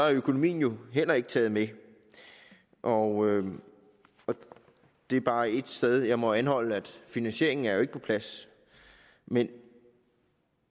økonomien heller ikke taget med og det er bare et sted jeg må anholde finansieringen er jo ikke på plads men